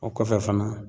O kɔfɛ fana